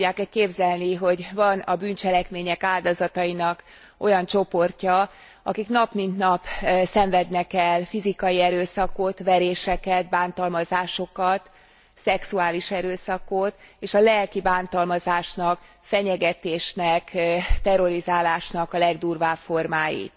El tudják e képzelni, hogy van a bűncselekmények áldozatainak olyan csoportja, akik nap mint nap szenvednek el fizikai erőszakot, veréseket, bántalmazásokat, szexuális erőszakot és a lelki bántalmazásnak, fenyegetésnek, terrorizálásnak a legdurvább formáit.